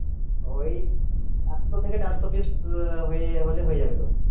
ওই একশো থেকে দেড়শো piece হলে হয়ে যাবে তোর.